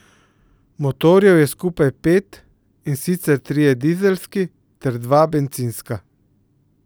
Motorjev je skupaj pet, in sicer trije dizelski ter dva bencinska.